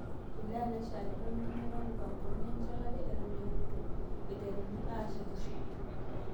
Wilaya naishakine nenyorra mupangoni enchetera eton eutu eiteruni aashetisho